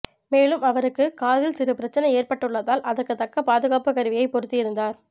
மேலும் அவருக்கு காதில் சிறு பிரச்சனை ஏற்பட்டுள்ளதால் அதற்கு தக்க பாதுகாப்பு கருவியை பொருத்தியிருந்தார்